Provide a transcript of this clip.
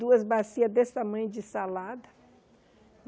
Duas bacias desse tamanho de salada.